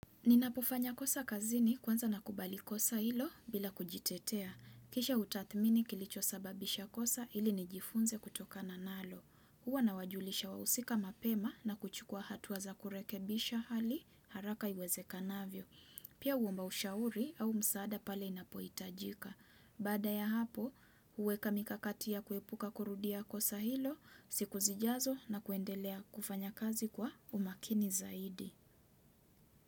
Ninapofanya kosa kazini kwanza nakubali kosa hilo bila kujitetea. Kisha hutathmini kilicho sababisha kosa ili nijifunze kutoka na nalo. Huwa nawajulisha wahusika mapema na kuchukua hatua za kurekebisha hali haraka iweze kanavyo. Pia huomba ushauri au msaada pale inapoitajika. Baada ya hapo, huweka mikakati ya kuepuka kurudia kosa hilo siku zijazo na kuendelea kufanya kazi kwa umakini zaidi.